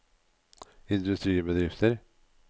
industribedrifter